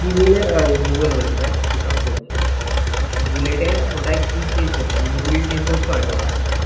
ভূগোলের ভূগোল বলছি ধ্যাত কিসব বলছি আমি বুলেটে ওটা কি change করতে হয় মুবিল change করতে হয় তো ওটা